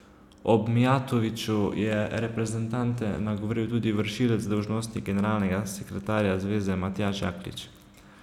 Ob Mijatoviću je reprezentante nagovoril tudi vršilec dolžnosti generalnega sekretarja zveze Matjaž Jaklič.